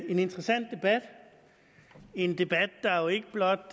en interessant debat en debat der jo ikke blot